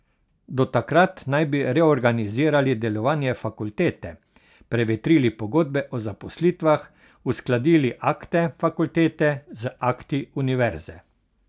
Do takrat naj bi reorganizirali delovanje fakultete, prevetrili pogodbe o zaposlitvah, uskladili akte fakultete z akti univerze.